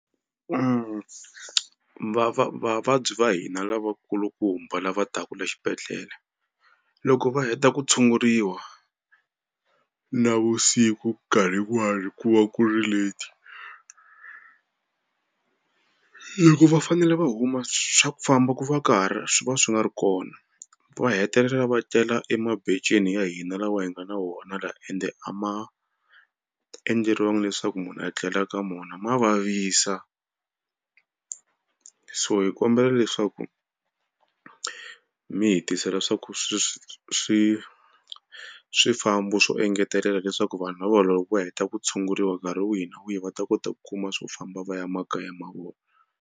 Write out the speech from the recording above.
vavabyi va hina lavakulumba lava taku le xibedhlele loko va heta ku tshunguriwa navusiku nkarhi wun'wana ku va ku ri late loko va fanele va huma swa ku famba ku va ka ri swi va swi nga ri kona va hetelela va tlela ya hina lawa hi nga na wona la ende a ma endleriwangi leswaku munhu a tlela ka mona ma vavisa. So hi kombela leswaku mi hi tisela swa ku swi swi swi swifambo swo engetelela leswaku vanhu lava loko va heta ku tshunguriwa nkarhi wihi na wihi va ta kota ku kuma swo famba va ya makaya ma vona.